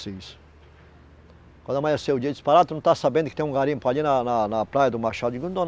Quando amanheceu o dia disse Pará, tu não tá sabendo que tem um garimpo ali na na na praia do Machado. eu digo